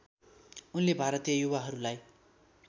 उनले भारतीय युवाहरूलाई